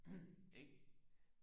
ikke